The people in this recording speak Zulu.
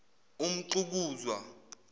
umxukuzwa